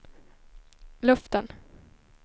luften